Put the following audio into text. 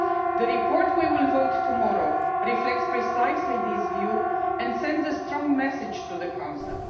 The report we will vote on tomorrow reflects precisely this view and sends a strong message to the Council.